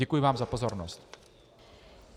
Děkuji vám za pozornost.